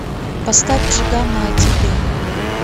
поставь джигана о тебе